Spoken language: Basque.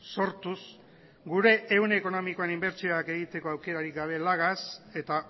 sortuz gure ehun ekonomikoan inbertsioak egiteko aukerarik gabe lagaz eta